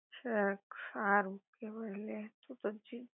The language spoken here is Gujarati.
ઠેક સારું કેવર લે તો પછી